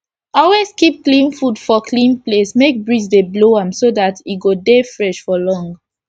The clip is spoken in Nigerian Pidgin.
always keep clean fud for clean place make breeze for dey blow am so dat e go dey fresh for long